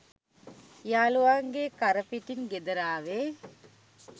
යාලුවන්ගේ කරපිටින් ගෙදර ආවේ